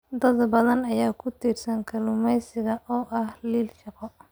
Dad badan ayaa ku tiirsan kalluumeysiga oo ah il shaqo.